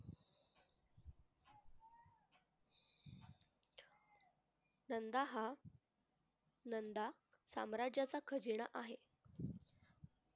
नंदा हा नंदा साम्राज्याचा खजिना आहे.